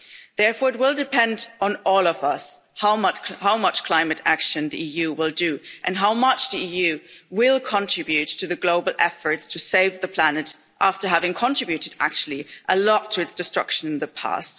Therefore, it will depend on all of us how much climate action the EU will undertake and how much the EU will contribute to the global efforts to save the planet after having contributed actually, a lot to its destruction in the past.